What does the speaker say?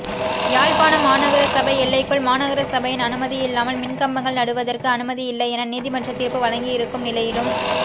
யாழ்ப்பாண மாநகர சபை எல்லைக்குள் மாநகர சபையின் அனுமதியில்லாமல் மின்கம்பங்கள் நடுவதற்கு அனுமதியில்லை என நீதிமன்றம் தீர்ப்பு வழங்கியிருக்கும் நிலையிலும்